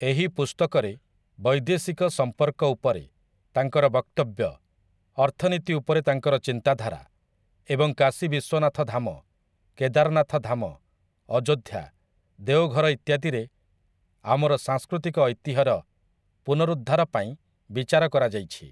ଏହି ପୁସ୍ତକରେ ବୈଦେଶିକ ସମ୍ପର୍କ ଉପରେ ତାଙ୍କର ବକ୍ତବ୍ୟ, ଅର୍ଥନୀତି ଉପରେ ତାଙ୍କର ଚିନ୍ତାଧାରା ଏବଂ କାଶୀ ବିଶ୍ୱନାଥ ଧାମ, କେଦାରନାଥ ଧାମ, ଅଯୋଧ୍ୟା, ଦେଓଘର ଇତ୍ୟାଦିରେ ଆମର ସାଂସ୍କୃତିକ ଐତିହ୍ୟର ପୁନରୁଦ୍ଧାର ପାଇଁ ବିଚାର କରାଯାଇଛି ।